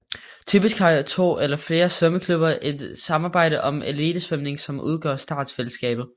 Typisk har to eller flere svømmeklubber et samarbejde om elitesvømningen som udgør startfællesskabet